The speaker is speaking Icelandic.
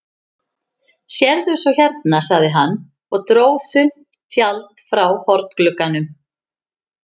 Sérðu svo hérna, sagði hann og dró þunnt tjald frá hornglugganum.